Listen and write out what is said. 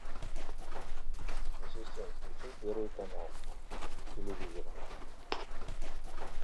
ассистент включи первый канал телевизора